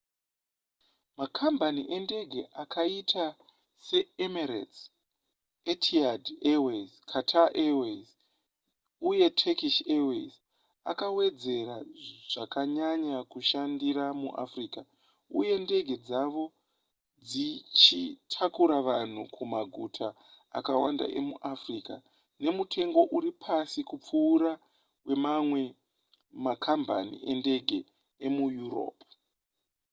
makambani endege akaita seemirates etihad airways qatar airways uye turkish airways akawedzera zvakanyanya kushandira muafrica uye ndege dzavo dzichitakura vanhu kumaguta akawanda emuafrica nemutengo uri pasi kupfuura wemamwe makambani endege emuyuropu